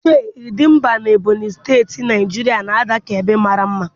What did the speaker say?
Chei, Idembia na Ebonyi Steti, Naijiria na-ada ka ebe mara mma.